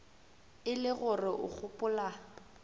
e le gore o gopola